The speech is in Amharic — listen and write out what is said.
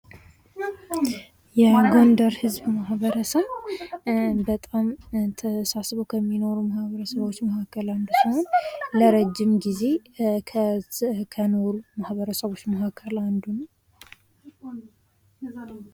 የጎንደር ህዝብ ማህበረሰብ በጣም ተሳስሮ ከሚኖሩ ማህበረሰቦች ውስጥ መካከል አንዱ ለረጅም ጊዜ ከኖሩ ማህበረሰቦች መሃከል አንዱ ነው።